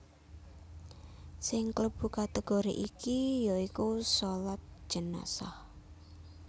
Sing klebu kategori iki ya iku shalat jenazah